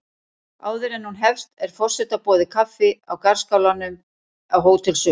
Áður en hún hefst er forseta boðið kaffi í garðskálanum á Hótel Sögu.